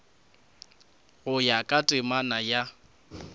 go ya ka temana ya